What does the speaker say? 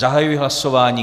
Zahajuji hlasování.